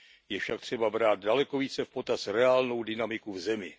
Je však třeba brát daleko více v potaz reálnou dynamiku v zemi.